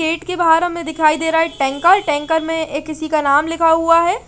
Gate के बाहर हमे दिखाई दे रहा है टैंकर टैंकर मे ये किसी का नाम लिखा हुआ है ।